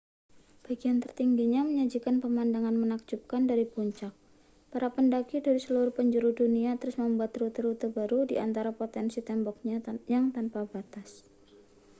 bagian tertingginya menyajikan pemandangan menakjubkan dari puncak para pendaki dari seluruh penjuru dunia terus membuat rute-rute baru di antara potensi temboknya yang tanpa batas